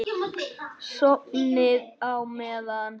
Sofnið á meðan.